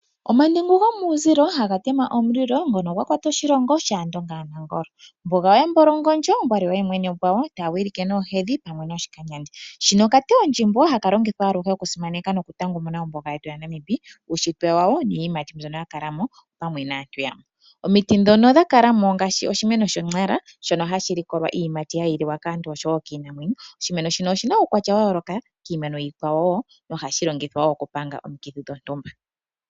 Omandengu gomuuzilo haga tema omulilo ngono gwa kwata oshilongo shaAndonga yaNangolo. Ombuga yaAmumbolongondjo taa wilike noohedhi pamwe noshikanyandi. Hano okatewo ndjimo haka longithwa aluhe oku tanga ombuga yetu yaNamib uushitwe wayo niiyimati mbyonoya kala mo. Omiiti dhonondha kala mo ongaashi oshimeno sho! Nara. Shono hashi likolwa iiyimati hayi liwa kaantu oshowo kiinamwenyo. Oshimeno shino oshina uukwatya wayoloka no hashi longithwa oku panga omiikithi dhontumba.